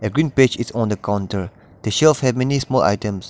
green on the counter the shelves a many's more items.